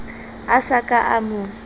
a sa ka a mo